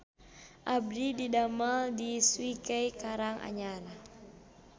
Abdi didamel di Swike Karang Anyar